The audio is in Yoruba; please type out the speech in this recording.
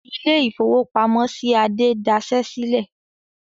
Ilé-ìfowópamọ́sí Adé dasẹ́ sílẹ̀.